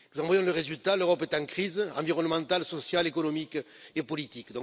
Nous voyons le résultat l'Europe est en crise environnementale, sociale, économique et politique.